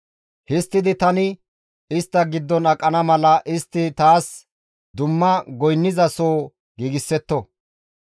«Histtidi tani istta giddon aqana mala istti taas dumma goynniza soo giigsetto.